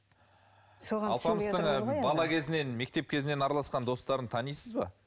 соған алпамыстың бала кезінен мектеп кезінен араласқан достарын танисыз ба